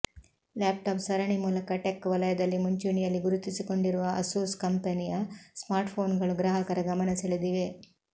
laptop ಸರಣಿ ಮೂಲಕ tech ವಲಯದಲ್ಲಿ ಮುಂಚೂಣಿಯಲ್ಲಿ ಗುರುತಿಸಿಕೊಂಡಿರುವ ಆಸೂಸ್ ಕಂಪನಿಯ ಸ್ಮಾರ್ಟ್ಫೋನ್ಗಳು ಗ್ರಾಹಕರ ಗಮನ ಸೆಳೆದಿವೆ